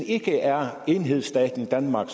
ikke er enhedsstaten danmark